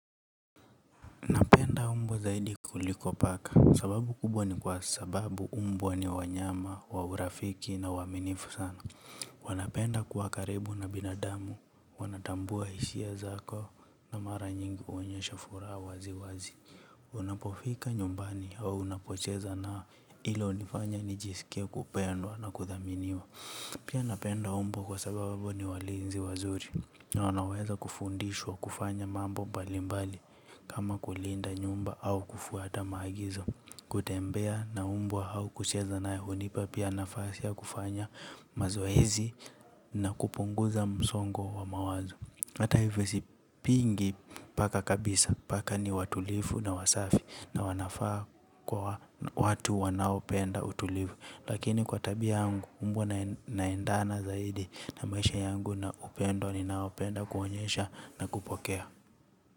Napenda mbwa zaidi kuliko paka sababu kubwa ni kwa sababu mbwa ni wanyama wa urafiki na waaminifu sana. Wanapenda kwa karibu na binadamu, wanatambua hishia zako na mara nyingi huonyesha furaha wazi wazi. Unapofika nyumbani au unapocheza nao hilo hunifanya nijisikia kupendwa na kudhaminiwa. Pia napenda mbwa kwa sababu ni walinzi wazuri. Na wanaweza kufundishwa kufanya mambo mbali mbali kama kulinda nyumba au kufuata maagizo. Kutembea na mbwa au kucheza naye hunipa pia nafasia ya kufanya mazoezi na kupunguza msongo wa mawazo. Hata hivyo sipingi paka kabisa paka ni watulivu na wasafi na wanafaa kuwa na watu wanaopenda utulivu. Lakini kwa tabia yangu mbwa naendana zaidi na maisha yangu na upendo ninao penda kuonyesha na kupokea.